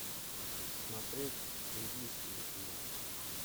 смотреть индийские фильмы